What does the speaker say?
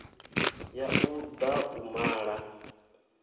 ya u da u mala